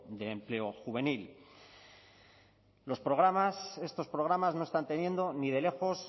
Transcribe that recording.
del empleo juvenil los programas estos programas no están teniendo ni de lejos